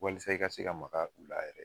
Walasa i ka se ka maka u la yɛrɛ